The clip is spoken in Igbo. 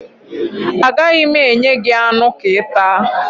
Agaghị m enye gị anụ ka ị taa